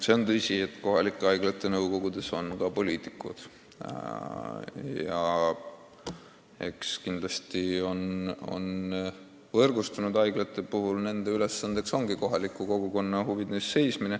See on tõsi, et kohalike haiglate nõukogudes on ka poliitikud ja eks nende ülesanne võrgustunud haiglate puhul ongi seista kohaliku kogukonna huvide eest.